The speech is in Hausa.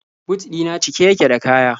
But ɗi na cike yake da kaya.